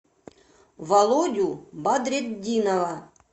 володю бадретдинова